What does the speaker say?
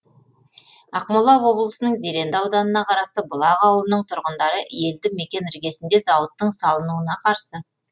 ақмола облысының зеренді ауданына қарасты бұлақ ауылының тұрғындары елді мекен іргесінде зауыттың салынуына қарсы